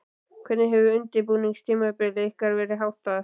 Hvernig hefur undirbúningstímabili ykkar verið háttað?